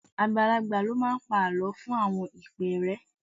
Àgbàlagbà ló máa ń pa àlọ́ fún àwọn ìpẹ́ẹ́rẹ́